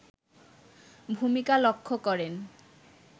ভূমিকা লক্ষ্য করেন